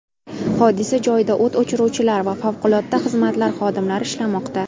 Hodisa joyida o‘t o‘chiruvchilar va favqulodda xizmatlar xodimlari ishlamoqda.